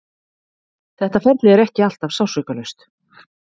Þetta ferli er ekki alltaf sársaukalaust.